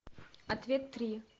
ответ три